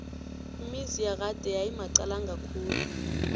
imizi yakade yayimaqalanga khulu